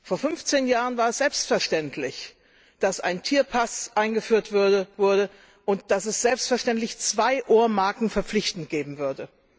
Vor fünfzehn Jahren war es selbstverständlich, dass ein Tierpass eingeführt wurde, und dass es selbstverständlich zwei Ohrmarken verpflichtend geben würde.